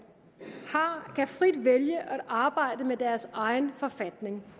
kan frit vælge at arbejde med deres egen forfatning